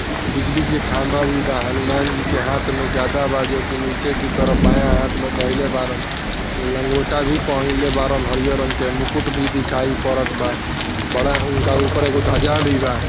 बिजली के खंबा भी बा हनुमान जी के हाथ में गदा बा जो की निचे की तरफ बाया हाथ दाहिले बारन लंगोटा भी पहने बारन हरा रंग के मुकुट भी दिखाई पडत बा बड़ा उनके ऊपर ध्वजा भी बा।